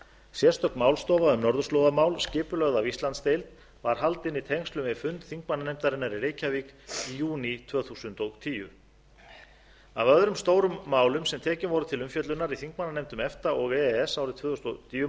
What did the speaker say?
sérstök málstofa um norðurslóðamál skipulögð af íslandsdeild var haldin í tengslum við fund þingmannanefndarinnar í reykjavík í júní tvö þúsund og tíu af öðrum stórum málum sem tekin voru til umfjöllunar í þingmannanefndum efta og e e s árið tvö þúsund og níu má